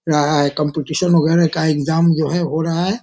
लग रहा है कॉम्‍पीटिशन वगैरह का एक्‍जाम जो है हो रहा हैं।